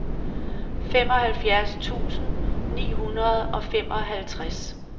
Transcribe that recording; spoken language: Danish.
femoghalvfjerds tusind ni hundrede og femoghalvtreds